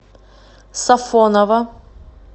сафоново